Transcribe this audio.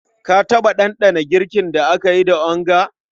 Ka taɓa ɗanɗana girkin da aka yi da onga?